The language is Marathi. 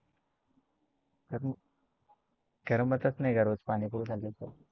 करमतच नाही का रोज पाणीपुरी खाल्ल्याशिवाय?